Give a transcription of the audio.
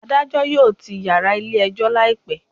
Adajọ yoo tii yara ile ejo laipẹ